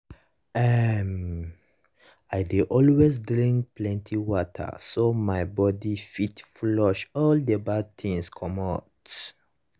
eh to dey wash hand on um a steady nah um small thing wey um dey help well well. help well well.